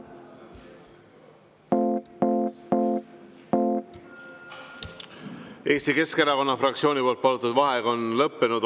Eesti Keskerakonna fraktsiooni palutud vaheaeg on lõppenud.